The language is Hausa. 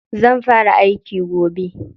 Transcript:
Zan fara aiki gobe.